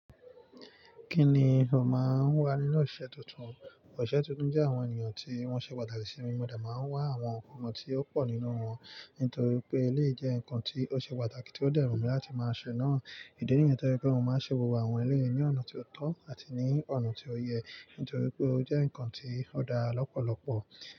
Kí ni o máa ń wà nínú ìṣe tuntun? Òṣìṣẹ́ tuntun jẹ́ àwọn ènìyàn tí wọ́n ṣe pàtàkì ai mi, mo de máa ń wá àwọn nǹkan tí ó pọ̀ nínú wọn. Nítorí pé eléyi jẹ́ nǹkan tí ó ṣe pàtàkì tí ó dẹ wùn mí láti máa ṣe náà. Ìdí nìyẹn to je wi pé mó máa ń ṣe gbogbo àwọn eléyi ní ọ̀nà tó tọ́ àti ní ọ̀nà tí ó yẹ. Nítorí pé ó jẹ́ nǹkan tí ó dára lọ́pọ̀lọpọ̀